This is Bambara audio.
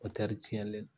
tiɲɛlen do